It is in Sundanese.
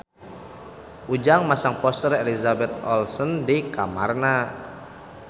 Ujang masang poster Elizabeth Olsen di kamarna